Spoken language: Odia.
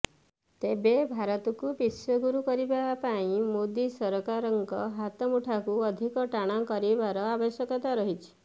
ତେବେ ଭାରତକୁ ବିଶ୍ୱଗୁରୁ କରିବା ପାଇଁ ମୋଦି ସରକାରଙ୍କ ହାତ ମୁଠାକୁ ଅଧିକ ଟାଣ କରିବାର ଆବଶ୍ୟକତା ରହିଛି